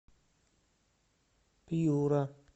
пьюра